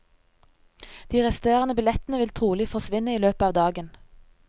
De resterende billettene vil trolig forsvinne i løpet av dagen.